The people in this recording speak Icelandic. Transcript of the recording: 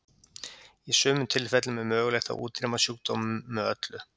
Í sumum tilfellum er mögulegt að útrýma sjúkdómum með öllu.